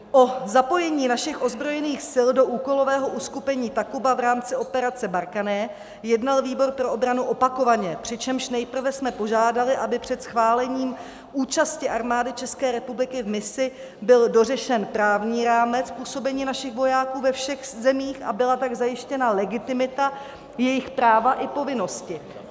O zapojení našich ozbrojených sil do úkolového uskupení Takuba v rámci operaci Barkhane jednal výbor pro obranu opakovaně, přičemž nejprve jsme požádali, aby před schválením účasti Armády České republiky v misi byl dořešen právní rámec působení našich vojáků ve všech zemích, a byla tak zajištěna legitimita, jejich práva i povinnosti.